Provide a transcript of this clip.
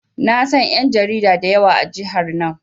Na san ƴan jarida da yawa a jihar nan.